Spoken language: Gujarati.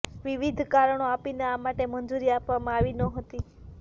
વિવિધ કારણો આપીને આ માટે મંજૂરી આપવામાં આવી નહોતી